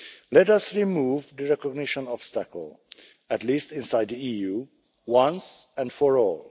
Let us remove the recognition obstacle, at least inside the EU, once and for all.